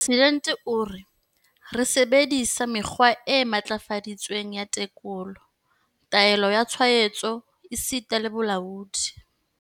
Mopresidente o re, ee sebedi-sa mekgwa e matlafaditsweng ya tekolo, taolo ya tshwaetso esita le bolaodi.